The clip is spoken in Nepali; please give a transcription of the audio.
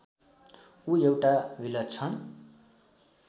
ऊ एउटा विलक्षण